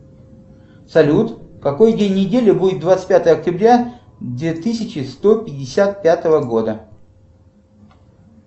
салют какой день недели будет двадцать пятого октября две тысячи сто пятьдесят пятого года